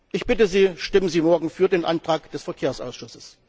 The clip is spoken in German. Ich bitte Sie, stimmen sie morgen für den Antrag des Verkehrsausschusses.